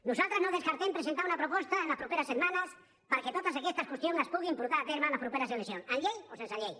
nosaltres no descartem presentar una proposta en les properes setmanes perquè totes aquestes qüestions es puguin portar a terme en les properes eleccions amb llei o sense llei